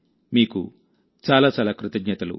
మీకు చాలా చాలా కృతజ్ఞతలు